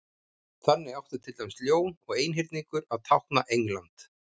þannig átti til dæmis ljón og einhyrningur að tákna england